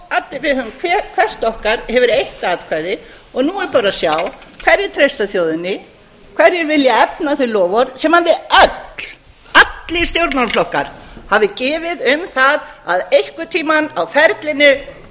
við höfum hvert okkar hefur eitt atkvæði nú er bara að sjá hverjir treysta þjóðinni hverjir vilja efna þau loforð sem við öll allir stjórnmálaflokkar hafi gefið um það að einhvern tímann á ferlinu yrði þjóðaratkvæðagreiðsla um þetta mikla mál ég bara skora á